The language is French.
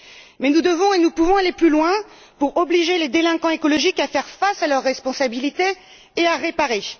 Mais nous devons et nous pouvons aller plus loin pour obliger les délinquants écologiques à faire face à leurs responsabilités et à réparer.